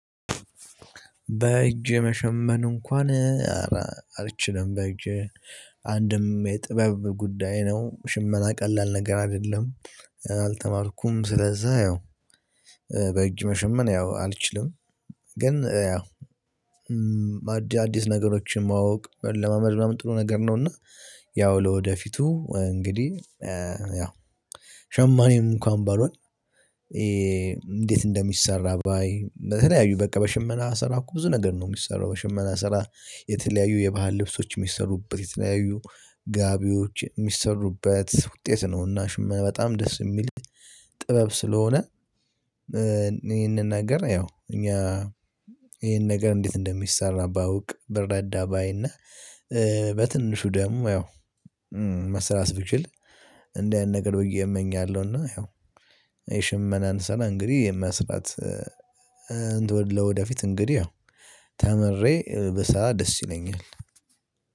በእጄ መሸመን እንኳን አልችልም በእጄ አንድም የጥበብ ጉዳይ ነው ሽመና ቀላል ነገር አይደለም። አልተማርኩም ስለዛ ያው መሸመን ያው አልችልም። ግን ያው አዲስ ነገሮችን ማወቅ ለመልመድ ጥሩ ነገር ነው። እና ያው ለወደፊቱ እንግዲህ ያው ሸማኝ እንኳን ባልሆን። እንዴት እንደሚሰራ ባይ በተለያዩ በቃ በሽመና ስራ እኮ ብዙ ነገር ነው የሚሰራው የሽመና ስራ የተለያዩ የባህል ልብሶች የሚሰሩበት የተለያዩ ጋቢዎች የሚሰሩበት ውጤት ነው። እና ሽማ በጣም ደስ የሚል ጥበብ ስለሆነ። ይሄንን ነገር ያው እኛ ይሄን ነገር እንዴት እንደሚሰራ ባውቅ ብረዳ ባይና በትንሹ ደሞ ያው መስራት ብችል እንደ አይነት ነገሮች ብዬ እመኛለሁ። እና ያው የሽመናን ስራ እንግዲህ የመስራት እንደው ለወደፊት እንግዲህ ያው ተምሬ ብሰራ ደስ ይለኛል።